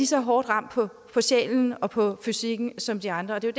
så hårdt ramt på sjælen og på psyken som de andre det er